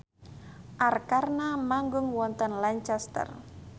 Arkarna manggung wonten Lancaster